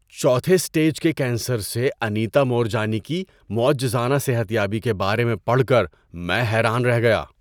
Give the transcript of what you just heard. چوتھے اسٹیج کے کینسر سے انیتا مورجانی کی معجزانہ صحت یابی کے بارے میں پڑھ کر میں حیران رہ گیا۔